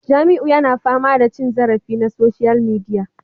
Jamiu yana fama da cin zarafi na social media